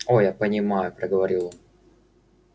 о я понимаю проговорил он